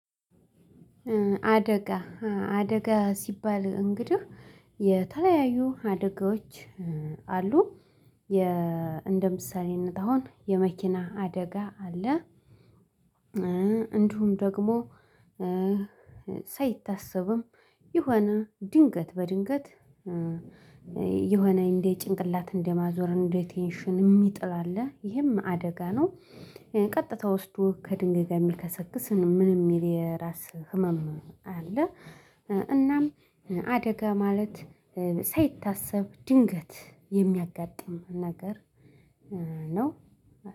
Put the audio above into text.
አደጋ አደጋ ሲባል እንግዲህ የተለያዩ አደጋዎች አሉ። እንደ ምሳሌነት አሁን የመኪና አደጋ አለ። እንዲሁም ደግሞ ሳይታሰብም የሆነ ድንገት በድንገት የሆነ እንደ ጭንቅላት እንደማዞር እንደ ቴንሽን የሚጥል አለ ይሄም አደጋ ነው። ቀጥታ ውስዶ ከድንግ ጋር የሚከሰክስ ምን የሚል የራስ ህመም አለ። እናም አደጋ ማለት ሳይታሰብ ድንገት የሚያጋጥም ነገር ነው